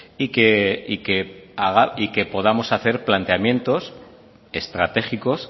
y que podamos hacer planteamientos estratégicos